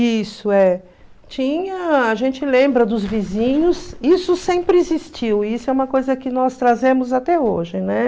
Isso, é. Tinha, a gente lembra dos vizinhos, isso sempre existiu, e isso é uma coisa que nós trazemos até hoje, né?